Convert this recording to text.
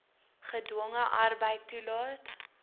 gedwonge arbeid toelaat